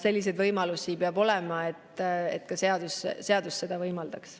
Selliseid võimalusi peab olema, seadus peab seda ka võimaldama.